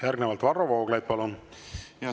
Järgnevalt Varro Vooglaid, palun!